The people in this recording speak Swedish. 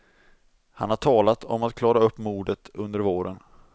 Han har talat om att klara upp mordet under våren.